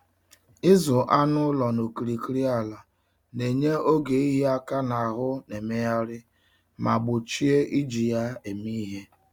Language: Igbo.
Ịzụ anụ ụlọ n'okirikiri ala na-enye oge ịhịa aka n'ahụ na-emegharị ma gbochie iji ya eme ihe.